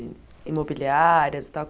I imobiliárias e tal.